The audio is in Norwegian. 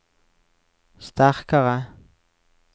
sterkare